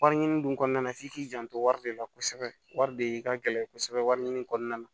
Wari ɲini dun kɔnɔna na f'i k'i janto wari de la kosɛbɛ wari de ka gɛlɛn kosɛbɛ wari ɲini kɔnɔna na